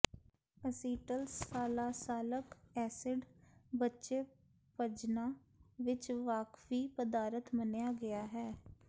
ਅਸੀਟਲਸਾਲਾਸਾਲਕ acid ਬੱਚੇ ਪਜੰਨਾ ਵਿੱਚ ਵਾਕਫੀ ਪਦਾਰਥ ਮੰਨਿਆ ਗਿਆ ਹੈ